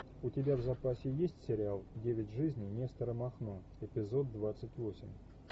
у тебя в запасе есть сериал девять жизней нестора махно эпизод двадцать восемь